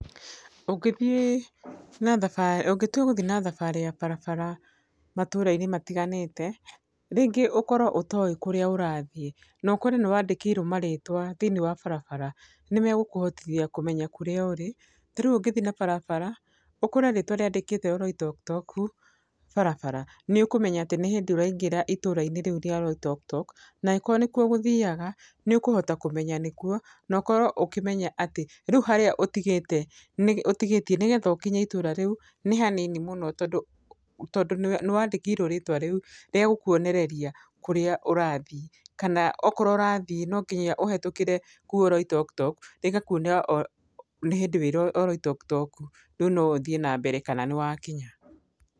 Ũngĩthiĩ na, ũngĩtua gũthiĩ na thabarĩ ya barabara matũũra matiganĩte. Rĩngĩ ũkorwo ũtoĩ kũrĩa ũrathiĩ, na ũkore nĩwandĩkĩirwo marĩtwa thĩinĩ wa barabara, nĩmagũkũhotithia kũmenya kũrĩa ũrĩ. Ta rĩu ũngĩthiĩ na barabara ũkore rĩtwa rĩandĩkĩtwo Oloitoktok barabara, nĩũkũmenya atĩ nĩ hĩndĩ ũraingĩra itũũra rĩu rĩa Oloitoktok, na angĩkorwo nĩkuo ũgũthiaga, nĩ ũkũhota kũmenya nĩkuo, no ũkorwo ũkĩmenya atĩ rĩu harĩa ũtigĩte nĩ, ũtigĩtie nigetha ũkinye itũũra rĩu nĩ hanini mũno tondũ, tondũ nĩwa nĩ wandĩkĩirwo rĩtwa rĩu rĩa gũkũonerereria kũría ũrathiĩ. Kana okorwo kũrĩa ũrathiĩ no nginya ũhĩtũkire kũu Oloitoktok, rĩgakuonia nĩ hĩndĩ ũrĩ Oloitoktok rĩu no ũthiĩ na mbere kana nĩ wakinya.